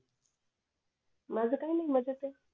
माझं काही नाही मज्जेत ए